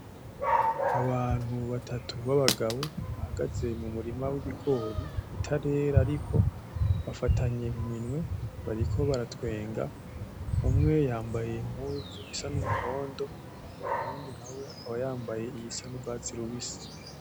Abantu batatu ba bagabo bahagaze mu murima w'ibigori bitarera ariko bafatanye mu minwe bariko baratwenga, umwe yambaye impuzu isa n'umuhondo; uwundi nawe akaba yambaye iyisa n'ugwatsi rubisi.